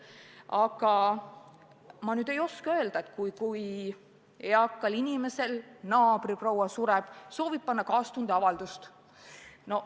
Aga ma ei oska öelda, mis saab, kui eakal inimesel naabriproua sureb ja ta soovib lehte kaastundeavalduse panna.